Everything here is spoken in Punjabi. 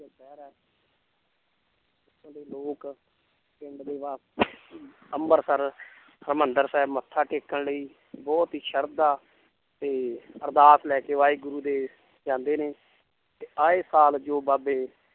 ਇੱਥੋਂ ਦੇ ਲੋਕ ਪਿੰਡ ਦੇ ਵਾ~ ਅੰਬਰਸਰ ਹਰਿਮੰਦਰ ਸਾਹਿਬ ਮੱਥਾ ਟੇਕਣ ਲਈ ਬਹੁਤ ਹੀ ਸਰਧਾ ਤੇ ਅਰਦਾਸ ਲੈ ਕੇ ਵਾਹਿਗੁਰੂ ਦੇ ਜਾਂਦੇ ਨੇ ਤੇ ਆਏ ਸਾਲ ਜੋ ਬਾਬੇ